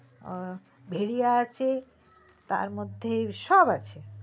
আ ভেরিয়া আছে তার মধ্যে সব আছে